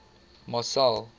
marcel